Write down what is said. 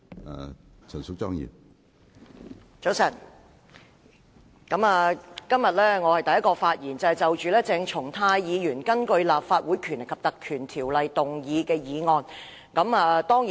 我是今天早上第一個就鄭松泰議員根據《立法會條例》動議的議案發言的議員。